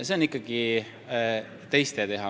See on ikkagi teiste teha.